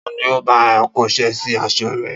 Ta ni ó bá ọ kóṣẹ́ sí aṣọ rẹ?